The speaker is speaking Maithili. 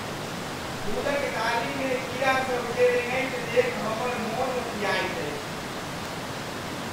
फूलक डालीमे कीड़ासभकेँ रेंगैत देखि हमर मन ओकियाइत अछि।